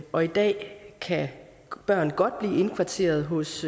og i dag kan børn godt blive indkvarteret hos